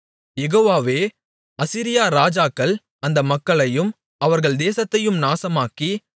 யெகோவாவே அசீரியா ராஜாக்கள் அந்த மக்களையும் அவர்கள் தேசத்தையும் நாசமாக்கி